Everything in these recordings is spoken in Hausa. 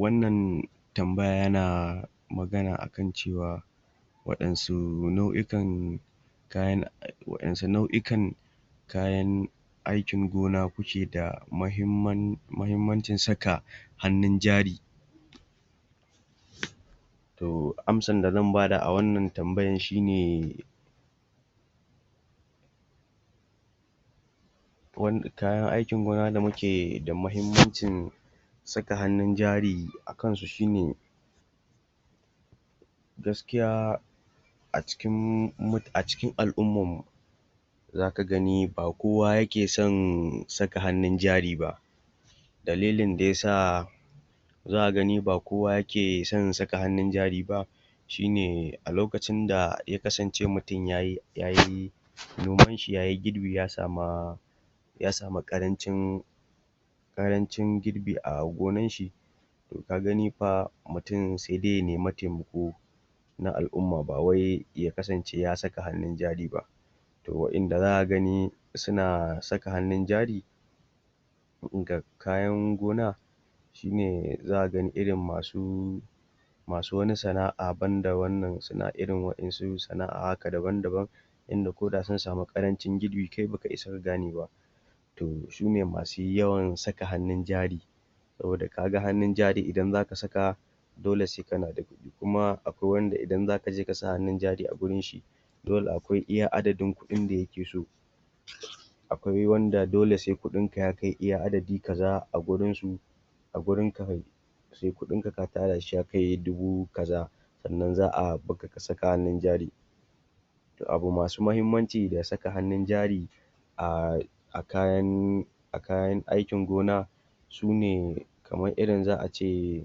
Wannan tambaya yana, magana akan cewa waɗansu na'ikan kayan wa'yansu na'ikan kayan aikin gona kuke da mahim mahimmancin saka hannun jari? To amsar da zan bada a wannan tambayan shine kayana aikin gona da muke da muhimmancin saka hannun jari akan su shine, gaskiya a cikin al'ummammu zaka gani ba koya yakeson saka hannun jari ba, dalilin da yasa zaka gani ba koya yake son saka hannun jari ba, shine a lokacin da ya kasance mutum yayi nomanshi, yayi girbi ya sama ƙarancin girbi a gonanshi, ka gani fa mutum sai dai ya nema taimako, na al'umma ba wai ya kasance ya saka hannun jari ba. To wa'inda zaka gani suna saka hannun jari, abin kayan gona, shine zaka gani irin masu wasu wani sana'a banda irin wa'yansu sana'a daban-daban inda ko da sun sami ƙarancin girbi kai baka isa ka gane ba. To sune masu yawan saka hannun jari, saboda kaga hannun jari idan zaka saka dole sai kana da shi, kuma wanda idan zaka je ka sa hannun jari a gurin shi dole akwai iya adadin kuɗin da yake so. Akwai wanda dole sai kuɗin ka ya kai adadi kaza a gurinsu, a gurinka kai sai kuɗinka ka tara shi ya kai dubu kaza, sannan za'a bakka ka saka hannun jari. To abu masu mahimmanci da saka hannun jari, ahhh a kayan aikin gona sune kaman irin za'a ce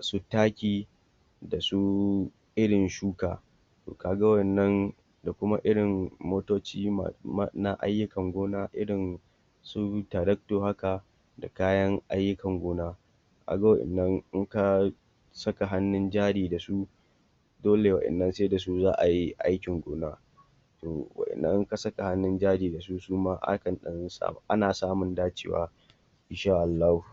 su taki, da su irin shuka, to ka ga wa'innan da kuma irin motoci na ayyukan gona irin su taractor haka, kayan ayukan gona ka ga wa'innan inka saka hannun jari da su dolewa'innan sai da su za'a yi aikin gona. To wa'innan in ka saka hannun jari da suma akan ɗan ana samu dacewa in sha Allahu.